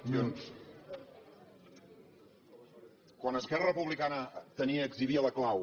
quan esquerra republicana tenia exhibia la clau